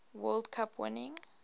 world cup winning